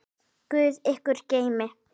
Guð ykkur geymi.